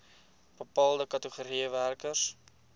bepaalde kategorieë werkers